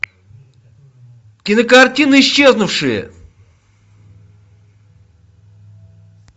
кинокартина исчезнувшие